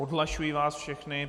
Odhlašuji vás všechny.